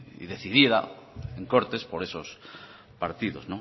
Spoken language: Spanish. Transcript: y decidida en cortes por esos partidos